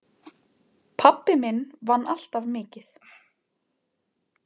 Pabbi minn vann alltaf mikið.